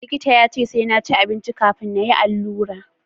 likita ya ce sai na ci abinci kafin na yi allura